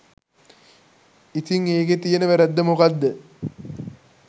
ඉතිං ඒකේ තියෙන වැරැද්ද මොකක්ද?